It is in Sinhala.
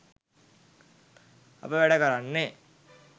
අප වැඩ කරන්නේ